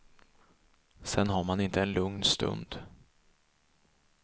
Sen har man inte en lugn stund.